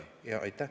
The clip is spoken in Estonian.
Aitäh!